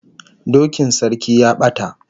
Dokin sarki ya bata